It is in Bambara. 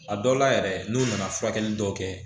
A dɔw la yɛrɛ n'u nana furakɛli dɔw kɛ